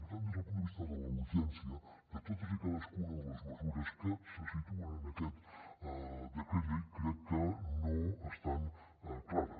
per tant des del punt de vista de la urgència de totes i cadascuna de les mesures que se situen en aquest decret llei crec que no estan clares